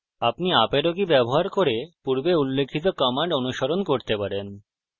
আপনি up arrow কী ব্যবহার করে পূর্বে উল্লিখিত commands অনুস্মরণ করতে পারেন